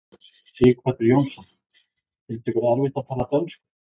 Sighvatur Jónsson: Finnst ykkur erfitt að tala dönsku?